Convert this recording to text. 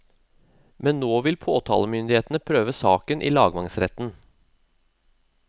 Men nå vil påtalemyndighetene prøve saken i lagmannsretten.